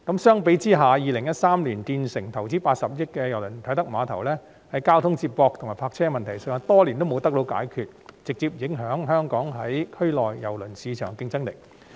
相比之下，在2013年建成、投資80億元興建的啟德郵輪碼頭，在交通接駁和泊車方面的問題多年都未得到解決，直接影響香港在區內郵輪市場的競爭力。